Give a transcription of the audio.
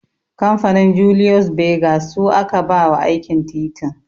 Kamfanin 'Julius Berger' su aka ba wa aikin titin